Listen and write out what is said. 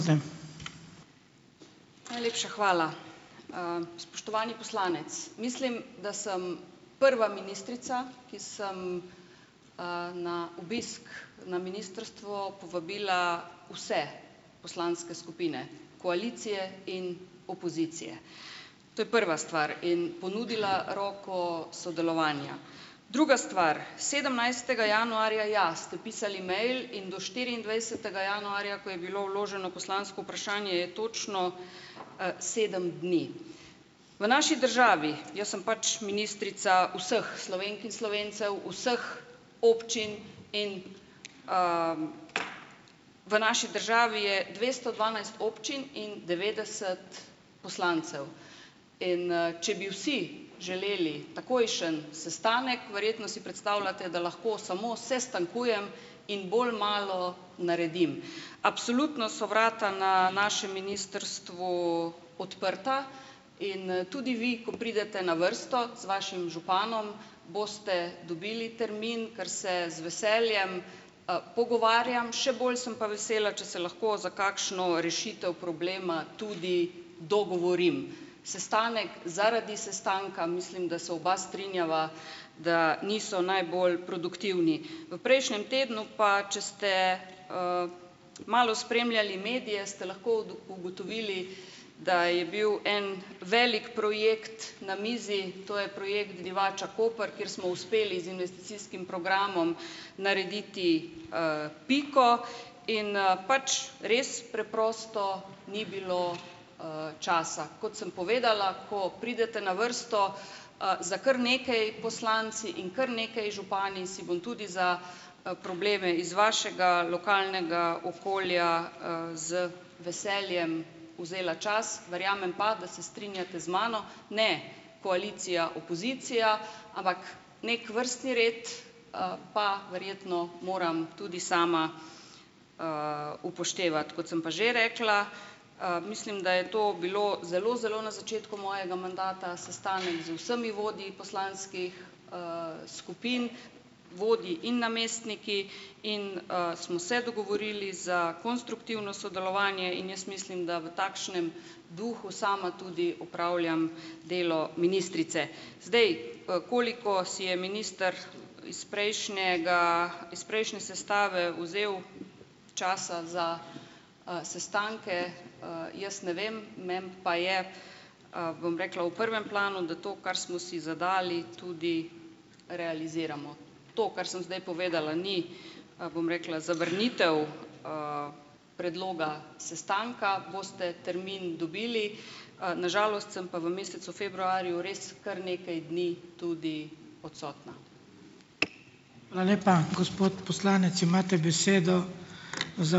Najlepša hvala. Spoštovani poslanec, mislim, da sem prva ministrica, ki sem, na obisk na ministrstvo povabila vse poslanske skupine - koalicije in opozicije, to je prva stvar, in ponudila roko sodelovanja. Druga stvar, sedemnajstega januarja, ja, ste pisali mail in do štiriindvajsetega januarja, ko je bilo vloženo poslansko vprašanje, je točno, sedem dni. V naši državi, jaz sem pač ministrica vseh Slovenk in Slovencev, vseh občin in, v naši državi je dvesto dvanajst občin in devetdeset poslancev. In, če bi vsi želeli takojšen sestanek, verjetno si predstavljate, da lahko samo sestankujem in bolj malo naredim. Absolutno so vrata na našem ministrstvu odprta in, tudi vi, ko pridete na vrsto z vašim županom, boste dobili termin, ker se z veseljem, pogovarjam, še bolj sem pa vesela, če se lahko za kakšno rešitev problema tudi dogovorim. Sestanek, zaradi sestanka - mislim, da se oba strinjava, da niso najbolj produktivni. V prejšnjem tednu pa, če ste, malo spremljali medije, ste lahko ugotovili, da je bil en velik projekt na mizi, to je projekt Divača-Koper, kjer smo uspeli z investicijskim programom narediti, piko in, pač, res preprosto ni bilo, časa. Kot sem povedala, ko pridete na vrsto, z kar nekaj poslanci in kar nekaj župani si bom tudi za, probleme iz vašega lokalnega okolja, z veseljem vzela čas, verjamem pa, da se strinjate z mano, ne koalicija, opozicija, ampak neki vrstni red, pa verjetno moram tudi sama, upoštevati. Kot sem pa že rekla, mislim, da je to bilo zelo zelo na začetku mojega mandata, sestanek z vsemi vodji poslanskih, skupin, vodji in namestniki in, smo se dogovorili za konstruktivno sodelovanje in jaz mislim, da v takšnem duhu sama tudi opravljam delo ministrice. Zdaj, koliko si je minister iz prejšnjega iz prejšnje sestave vzel časa za, sestanke, jaz ne vem, meni pa je, bom rekla, v prvem planu, da to, kar smo si zadali, tudi realiziramo. To, kar sem zdaj povedala, ni, bom rekla, zavrnitev, predloga sestanka, boste termin dobili, na žalost sem pa v mesecu februarju res kar nekaj dni tudi odsotna.